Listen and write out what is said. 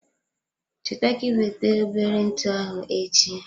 Cheta ka iweta obere ntụ ahụ echi.